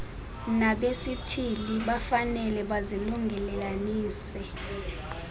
nabesithili bafanele bazilungelelanise